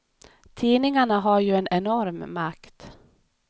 Tidningarna har ju en enorm makt.